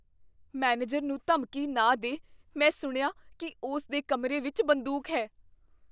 manager ਨੂੰ ਧਮਕੀ ਨਾ ਦੇ ਮੈਂ ਸੁਣਿਆ ਕੀ ਉਸ ਦੇ ਕਮਰੇ ਵਿੱਚ ਬੰਦੂਕ ਹੈ